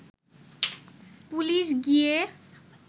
police গিয়ে